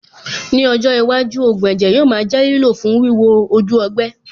Ní ọjọ́ iwájú, ògùn ẹ̀jẹ̀ yóò máa jẹ́ lílò fún wíwo ojú ọgbẹ́.